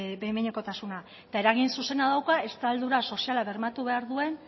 behin behinekotasuna eta eragin zuzena dauka estaldura soziala bermatu behar duen